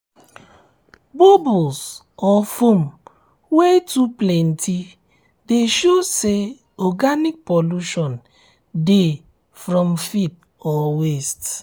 bubbles or foam wey too plenty de show say organic pollution dey from feed or waste